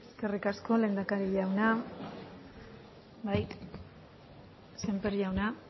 eskerrik asko lehendakari jauna bai sémper jauna